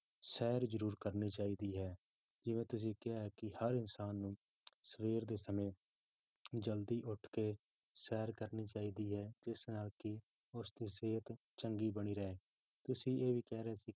ਸੈਰ ਜ਼ਰੂਰ ਕਰਨੀ ਚਾਹੀਦੀ ਹੈ, ਜਿਵੇਂ ਤੁਸੀਂ ਕਿਹਾ ਹੈ ਕਿ ਹਰ ਇਨਸਾਨ ਨੂੰ ਸਵੇਰ ਦੇ ਸਮੇਂ ਜ਼ਲਦੀ ਉੱਠ ਕੇ ਸੈਰ ਕਰਨੀ ਚਾਹੀਦੀ ਹੈ ਜਿਸ ਨਾਲ ਕੀ ਉਸਦੀ ਸਿਹਤ ਚੰਗੀ ਬਣੀ ਰਹੇ ਤੁਸੀਂ ਇਹ ਵੀ ਕਹਿ ਰਹੇ ਸੀ